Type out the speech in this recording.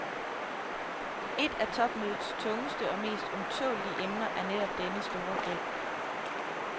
Et af topmødets tungeste og mest ømtålelige emner er netop denne store gæld.